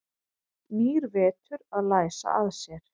Nýr vetur að læsa að sér.